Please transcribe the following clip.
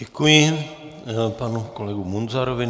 Děkuji panu kolegovi Munzarovi.